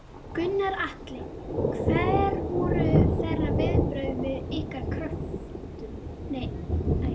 Gunnar Atli: Hver voru þeirra viðbrögð við ykkar kröfum?